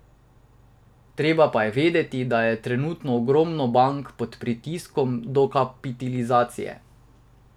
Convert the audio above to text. Treba pa je vedeti, da je trenutno ogromno bank pod pritiskom dokapitalizacije.